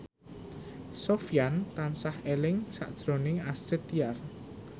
Sofyan tansah eling sakjroning Astrid Tiar